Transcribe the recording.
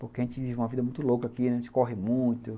Porque a gente vive uma vida muito louca aqui, a gente corre muito.